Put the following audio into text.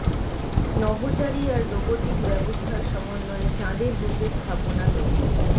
নভোচারী আর রোবটিক ব্যবস্থার সমন্বয়ে চাঁদের বুকে স্থাপনা তৈরি